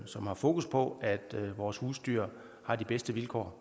som har fokus på at vores husdyr har de bedste vilkår